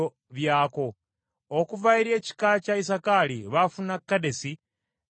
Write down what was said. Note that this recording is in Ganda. Okuva eri ekika kya Isakaali baafuna Kedesi, Daberasi